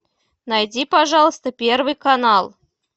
найди пожалуйста первый канал